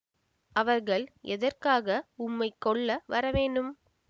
அவர்கள் எதற்காக உம்மைக் கொல்ல வரவேணும்